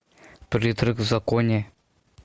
призрак в законе